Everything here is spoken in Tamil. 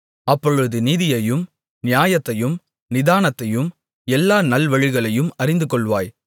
அப்பொழுது நீதியையும் நியாயத்தையும் நிதானத்தையும் எல்லா நல்வழிகளையும் அறிந்துகொள்வாய்